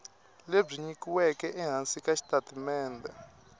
lebyi nyikiweke ehansi ka xitatimende